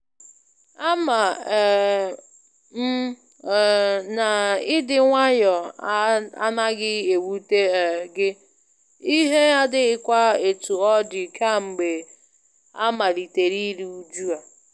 Ama um m um na ịdị nwayọ a anaghị ewute um gị, ihe adighịkwa etu ọ dị kamgbe amalitere iru uju a.